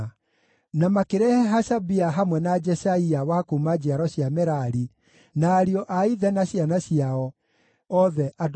Na makĩrehe Hashabia hamwe na Jeshaia wa kuuma njiaro cia Merari, na ariũ a ithe na ciana ciao, othe andũ 20.